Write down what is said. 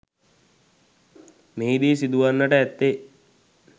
මෙහිදී සිදුවන්නට ඇත්තේ